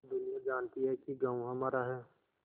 दुनिया जानती है कि गॉँव हमारा है